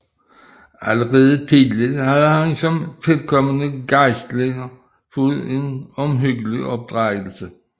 Allerede tidlig havde han som tilkommende gejstlig fået en omhyggelig opdragelse